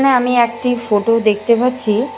মা আমি একটি ফটো দেখতে পাচ্ছি--